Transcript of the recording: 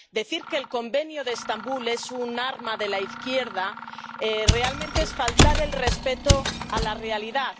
Decir que el Convenio de Estambul es un arma de la izquierda, realmente, es faltar el respeto a la realidad.